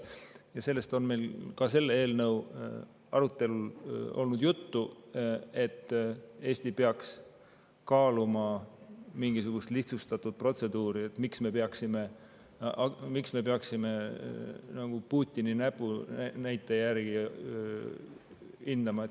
Ja sellest on meil ka selle eelnõu arutelul olnud juttu, et Eesti peaks kaaluma mingisugust lihtsustatud protseduuri, et miks me peaksime nagu Putini näpunäite järgi.